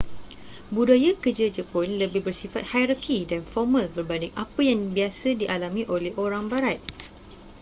budaya kerja jepun lebih bersifat hierarki dan formal berbanding apa yang biasa dialami oleh orang barat